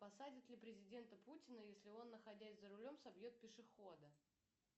посадят ли президента путина если он находясь за рулем собьет пешехода